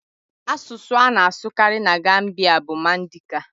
Asụsụ a na-asụkarị na Gambia bụ Mandika.